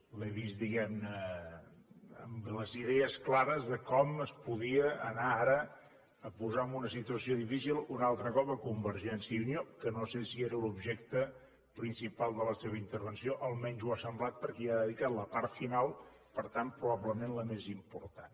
l’he vist diguem ne amb les idees clares de com es podia anar ara a posar en una posició difícil un altre cop convergència i unió que no sé si era l’objecte principal de la seva intervenció almenys ho ha semblat perquè hi ha dedicat la part final per tant probablement la més important